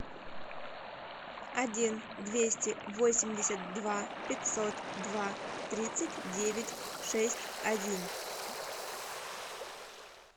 один двести восемьдесят два пятьсот два тридцать девять шесть один